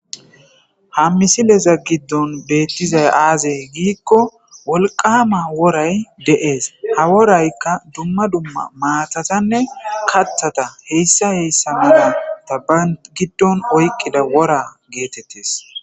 Ha misileza gidon betizay aze gizaysa gidiko wolqama woray de'es ha worayka dumma dumma matatane kathata heysa heysa malata ba gidon oyqida wora getetes